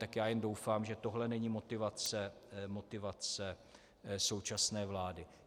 Tak já jenom doufám, že tohle není motivace současné vlády.